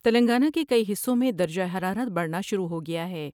تلنگانہ کے کئی حصوں میں درجہ حرارت بڑھنا شروع ہو گیا ہے ۔